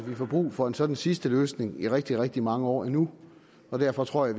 at vi får brug for en sådan sidste løsning i rigtig rigtig mange år endnu og derfor tror jeg